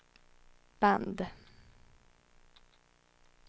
band